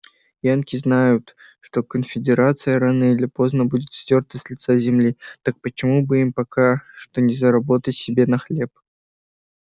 янки знают что конфедерация рано или поздно будет стёрта с лица земли так почему бы им пока что не заработать себе на хлеб